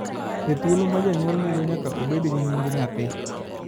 E thuolo ma janyuol nigo nyaka obed gi nying nyathi